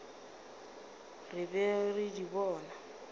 re be re di bona